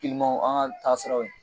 kilimaw an ka taa siraw ye